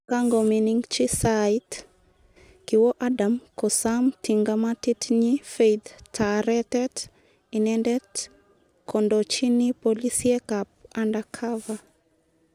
Ye kagomining'chi saait, kiwoo Adam kosaam tingamatit nyi Faith taaretet; inendet kondoochini polisiek ap undercover.